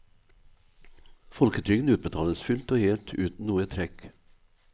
Folketrygden utbetales fullt og helt uten noe trekk.